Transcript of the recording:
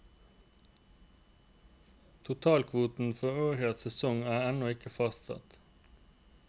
Totalkvoten for årets sesong er ennå ikke fastsatt.